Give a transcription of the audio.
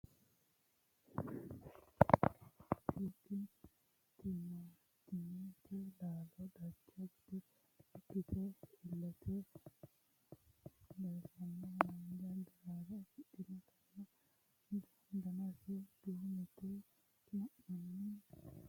giwirinnu laalchi giddo mitte ikkitinoti timaatimete laalo dancha gede ikkite itate iillitinota haanja daro afidhinotanna danase duu'mite le'anni noote yaate